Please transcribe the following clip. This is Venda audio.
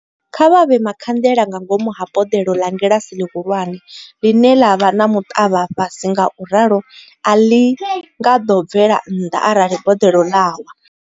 Kha vha vhee makhanḽela nga ngomu ha boḽelo ḽa ngilasi ḽihulwane ḽine ḽa vha na muḽavha fhasi ngauralo a ḽo bvela nnḓa arali boḽelo ḽa wa.